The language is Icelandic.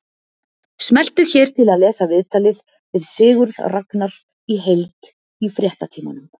Smelltu hér til að lesa viðtalið við Sigurð Ragnar í heild í Fréttatímanum